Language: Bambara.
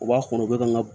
U b'a kɔnɔ u bɛ ka n ka